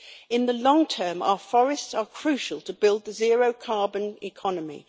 In the long term, our forests are crucial to build the zero carbon economy.